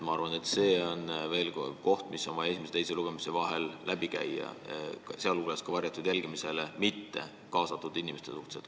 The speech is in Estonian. Ma arvan, et see on teema, mis tuleks esimese ja teise lugemise vahel läbi arutada, pidades silmas ka varjatud jälgimisele mittekaasatud inimesi.